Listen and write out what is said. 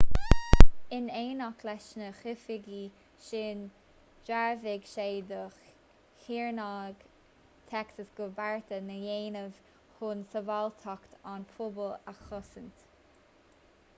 in éineacht leis na hoifigigh sin dhearbhaigh sé do shaoránaigh texas go raibh bearta á ndéanamh chun sábháilteacht an phobail a chosaint